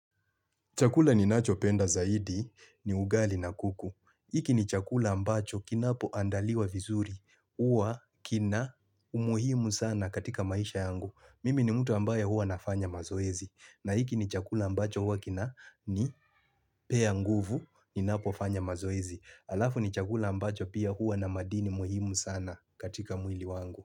Chakula ninacho penda zaidi ni ugali na kuku. Iki ni chakula ambacho kinapo andaliwa vizuri, uwa kina umuhimu sana katika maisha yangu. Mimi ni mtu ambaye huwa nafanya mazoezi. Na iki ni chakula ambacho huwa kina nipea nguvu, ninapo fanya mazoezi. Alafu ni chakula ambacho pia huwa na madini muhimu sana katika mwili wangu.